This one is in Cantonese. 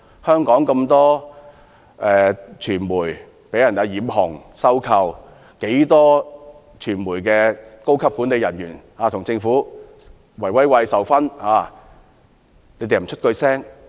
香港有眾多傳媒被中資收購而"染紅"；不少傳媒高級管理人員與政府"圍威喂"而獲授勳。